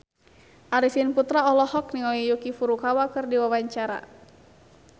Arifin Putra olohok ningali Yuki Furukawa keur diwawancara